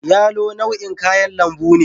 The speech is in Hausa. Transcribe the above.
yalo nau'in kayan lambu ne